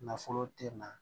Nafolo te na